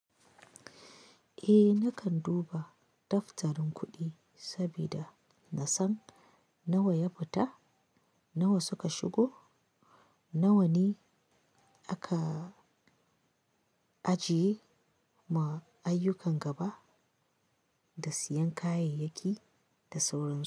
Eh nakan duba daftarin kuɗi sabida na san nawa ya fita, nawa suka shigo, nawa ne aka ajiye ma ayyukan gaba da siyan kayayyaki da sauran su.